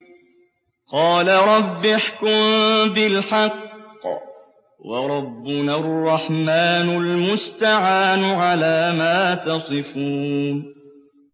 قَالَ رَبِّ احْكُم بِالْحَقِّ ۗ وَرَبُّنَا الرَّحْمَٰنُ الْمُسْتَعَانُ عَلَىٰ مَا تَصِفُونَ